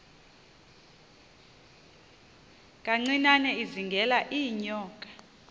kancinane izingela iinyoka